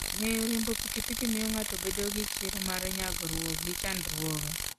Ng'eyo riembo pikipiki miyo ng'ato bedo gi chir mar nyagruok gi chandruoge.